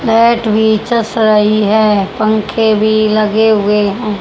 Mat भी चस रही है पंखे भी लगे हुए हैं।